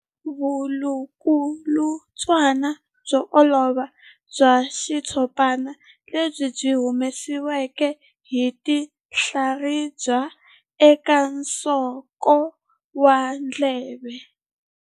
Vulukulutswana byo olova bya xitshopana lebyi byi humesiwaka hi tinhlaribya eka nsoko wa ndleve.